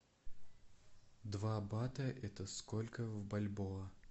два бата это сколько в бальбоа